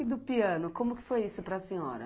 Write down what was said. E do piano, como que foi isso para a senhora?